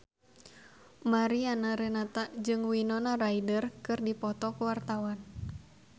Mariana Renata jeung Winona Ryder keur dipoto ku wartawan